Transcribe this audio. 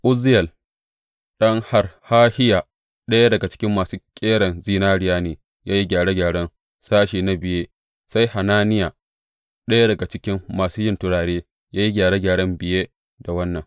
Uzziyel ɗan Harhahiya, ɗaya daga cikin masu ƙeran zinariya ne ya yi gyare gyaren sashe na biye; sai Hananiya, ɗaya daga cikin masu yin turare, ya yi gyare gyaren biye da wannan.